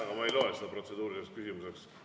Aga ma ei loe seda protseduuriliseks küsimuseks.